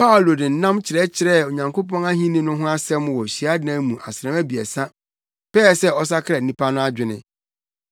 Paulo de nnam kyerɛkyerɛɛ Onyankopɔn Ahenni no ho asɛm wɔ hyiadan mu asram abiɛsa pɛɛ sɛ ɔsakra nnipa no adwene.